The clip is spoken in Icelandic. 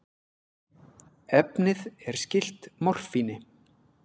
Efnið er skylt morfíni.